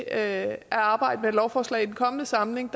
at arbejde med et lovforslag i den kommende samling